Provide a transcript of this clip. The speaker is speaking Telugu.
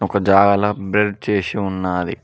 ఒక జాల బెల్డ్ చేసి ఉన్నాది.